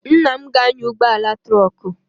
Nna m na-anya ụgbọala trọkụ.